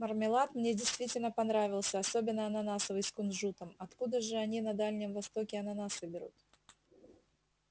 мармелад мне действительно понравился особенно ананасовый с кунжутом откуда же они на дальнем востоке ананасы берут